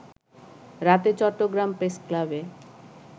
রাতে চট্টগ্রাম প্রেসক্লাবে